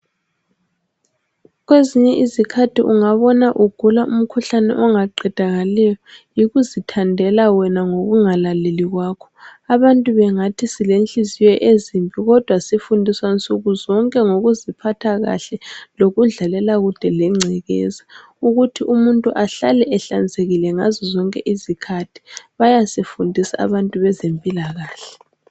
Kwezinye izikhathi ungabona ugula umkhuhlane ongaqedakaliyo yikuzithandela wena ngokungalaleli kwakho. Abantu bengathi silenhliziyo ezimbi kodwa sifundiswa nsukuzonke ngokuziphatha kahle kanye lokudlalela kude lengcekeza, ukuthi umuntu ahlale ehlanzekile ngazo zonke izikhathi. Bayasifundisa abantu bezempilakahle.